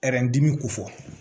dimi ko fɔ